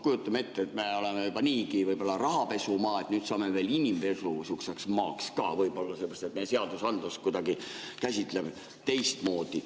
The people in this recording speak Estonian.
Kujutame ette: me oleme juba niigi rahapesumaa, nüüd saame veel sihukeseks inimpesumaaks ka võib-olla, sellepärast et me seadusandlust käsitleme kuidagi teistmoodi.